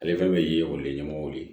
Ale fɛn bɛ ye o ye ɲɛmɔgɔw de ye